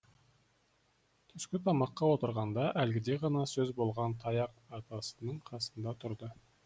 түскі тамаққа отырғанда әлгіде ғана сөз болған таяқ атасының қасында тұрды